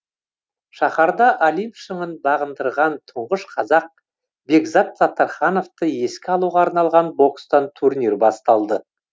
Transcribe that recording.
шаһарда олимп шыңын бағындырған тұңғыш қазақ бекзат саттархановты еске алуға арналған бокстан турнир басталды